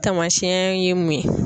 Tamasiyɛn ye mun ye?